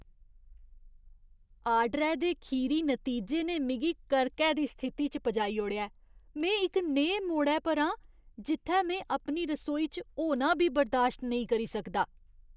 आर्डरै दे खीरी नतीजे ने मिगी करकै दी स्थिति च पजाई ओड़ेआ ऐ। में इक नेहे मोड़ै पर आं जित्थै में अपनी रसोई च होना बी बर्दाश्त नेईं करी सकदा।